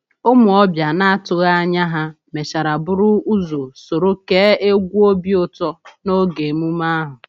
Ụmụ ọbịa na-atụghị anya ha mechara buru ụzọ soro kee egwu obi ụtọ n’oge emume ahụ.